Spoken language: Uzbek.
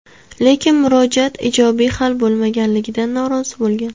Lekin murojaati ijobiy hal bo‘lmaganligidan norozi bo‘lgan.